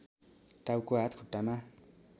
टाउको हात खुट्टामा